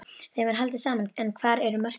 Þeim er haldið saman en hvar eru mörkin?